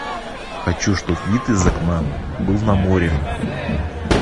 хочу чтоб вид из окна был на море